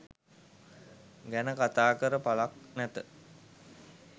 ගැන කතා කර පළක් නැත.